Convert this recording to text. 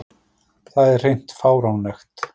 Það er hreint fáránlegt